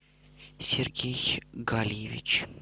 сергей гальевич